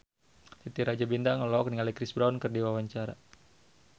Titi Rajo Bintang olohok ningali Chris Brown keur diwawancara